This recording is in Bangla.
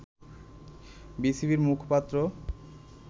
বিসিবির মুখপাত্র